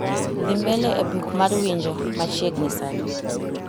dhi mbele e buk mar winjo ma chiegni sani